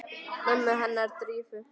Mömmu hennar Drífu?